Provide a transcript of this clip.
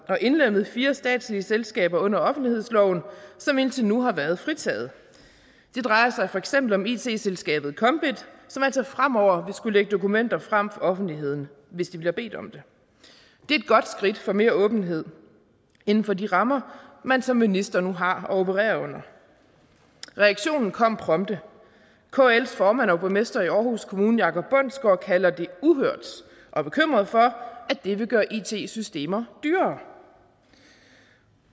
og indlemmet fire statslige selskaber under offentlighedsloven som indtil nu har været fritaget det drejer sig for eksempel om it selskabet kombit som altså fremover vil skulle lægge dokumenter frem for offentligheden hvis de bliver bedt om det det er et godt skridt for mere åbenhed inden for de rammer man som minister nu har at operere under reaktionen kom prompte kls formand og borgmester i aarhus kommune jacob bundsgaard kalder det uhørt og er bekymret for at det vil gøre it systemer dyrere